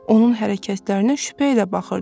Onun hərəkətlərinə şübhə ilə baxırdı.